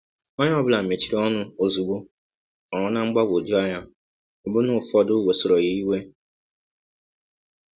Onye ọ bụla mechiri ọnụ ọzụgbọ, nọrọ ná mgbagwọjụ anya, ọbụna ụfọdụ wesọrọ ya iwe.